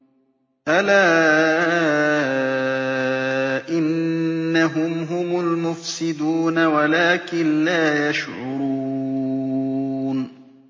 أَلَا إِنَّهُمْ هُمُ الْمُفْسِدُونَ وَلَٰكِن لَّا يَشْعُرُونَ